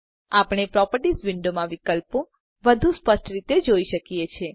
આપણે પ્રોપર્ટીઝ વિંડોમાં વિકલ્પો હવે વધુ સ્પષ્ટ રીતે જોઈ શકીએ છે